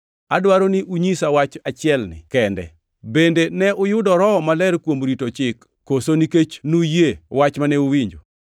Adwaro ni unyisa wach achielni kende: Bende ne uyudo Roho Maler kuom rito Chik koso nikech nuyie wach mane uwinjo?